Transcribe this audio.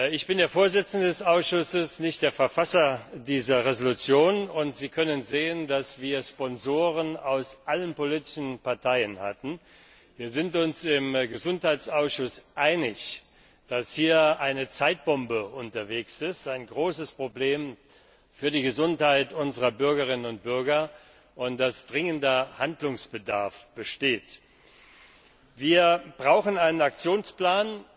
Ich bin der Vorsitzende des Ausschusses, nicht der Verfasser dieser Entschließung, und Sie können sehen, dass wir Sponsoren aus allen politischen Parteien hatten. Wir sind uns im Gesundheitsausschuss einig, dass hier eine Zeitbombe tickt, ein großes Problem für die Gesundheit unserer Bürgerinnen und Bürger, und dass dringender Handlungsbedarf besteht. Wir brauchen einen Aktionsplan,